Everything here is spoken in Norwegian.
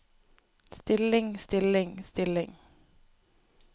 stilling stilling stilling